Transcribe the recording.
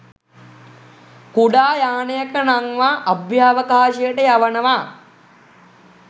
කුඩා යානයක නංවා අභ්‍යාවකාශයට යවනවා